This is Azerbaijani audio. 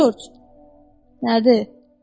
Corc, nədir?